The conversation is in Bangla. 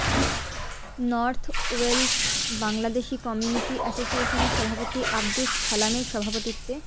নর্থ ওয়েলস বাংলাদেশি কমিউনিটি অ্যাসোসিয়েশনের সভাপতি আব্দুস ছালামের সভাপতিত্বে